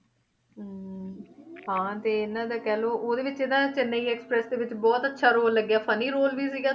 ਹਾਂ ਤੇ ਇਹਨਾਂ ਦਾ ਕਹਿ ਲਓ ਉਹਦੇੇ ਵਿੱਚ ਨਾ ਚੇਨੰਈ express ਦੇ ਵਿੱਚ ਬਹੁਤ ਅੱਛਾ ਰੋਲ ਲੱਗਿਆ funny ਰੋਲ ਵੀ ਸੀਗਾ ਤੇ